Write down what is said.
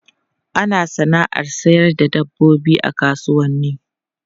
Ana sana'ar sayar da dabbobi a kasuwanni.